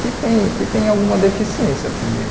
que tem que tem alguma deficiência também.